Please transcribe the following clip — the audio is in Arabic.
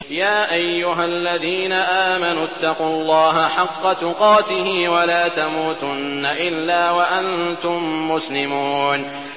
يَا أَيُّهَا الَّذِينَ آمَنُوا اتَّقُوا اللَّهَ حَقَّ تُقَاتِهِ وَلَا تَمُوتُنَّ إِلَّا وَأَنتُم مُّسْلِمُونَ